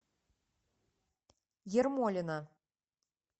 ермолина